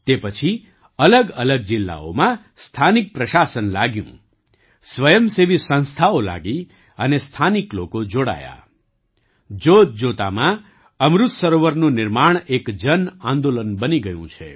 તે પછીઅલગઅલગ જિલ્લાઓમાં સ્થાનિક પ્રશાસન લાગ્યું સ્વયંસેવી સંસ્થાઓ લાગી અને સ્થાનિક લોકો જોડાયા જોતજોતામાં અમૃત સરોવરનું નિર્માણ એક જન આંદોલન બની ગયું છે